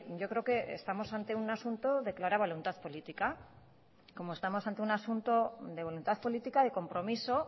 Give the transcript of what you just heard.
yo creo que estamos ante un asunto de clara voluntad política como estamos ante un asunto de voluntad política de compromiso